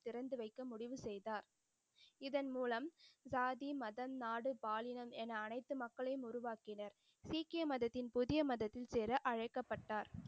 திறந்து வைக்க முடிவு செய்தார். இதன் மூலம் ஜாதி மதம் நாடு பாலினம் என அனைத்து மக்களையும் உருவாக்கினர். சீக்கிய மதத்தில் புதிய மதத்தில் சேர அழைக்கப்பட்டார்.